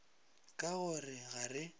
ka go re ga re